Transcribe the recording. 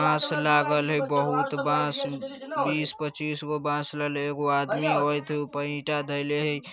बाँस लागल हई बहुत बाँस बीस पचिसगो बाँस लल हे | एगो आदमी हइ त ऊपर ईटा धइले हई |